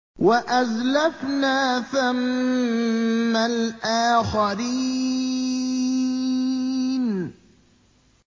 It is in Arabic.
وَأَزْلَفْنَا ثَمَّ الْآخَرِينَ